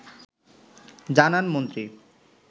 জানান মন্ত্রী